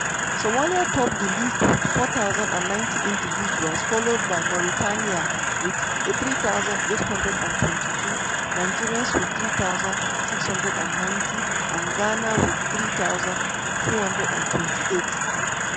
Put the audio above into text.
somalia top di list wit 4090 individuals followed by mauritania wit 3822 nigeria wit 3690 and ghana wit 3228.